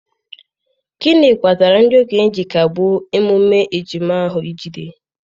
gịnị kpatara ndị okenye ji kagbuo emume ejima ahụ ijide?